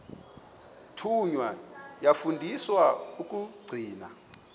thunywa yafundiswa ukugcina